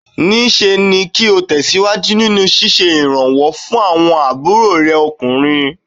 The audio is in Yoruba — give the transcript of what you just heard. Níṣe ni kí o tẹ̀síwájú nínú ṣíṣe ìrànwọ́ fún àwọn ọbàkna rẹ ọkùnrin.